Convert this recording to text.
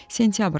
Sentyabr ayı idi.